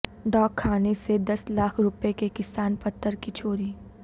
ڈاک خانے سے دس لاکھ روپئے کے کسان پتر کی چوری